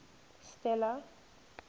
stella